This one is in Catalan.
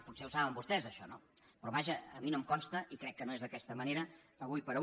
potser ho saben vostès això no però vaja a mi no em consta i crec que no és d’aquesta manera ara com ara